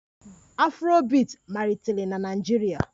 Afrobiiti malitere na Naịjirịa